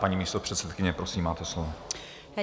Paní místopředsedkyně, prosím, máte slovo.